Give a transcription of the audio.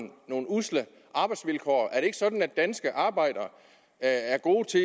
usle arbejdsvilkår er det ikke sådan at danske arbejdere er gode til